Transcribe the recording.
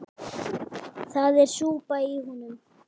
Það er súpa í honum.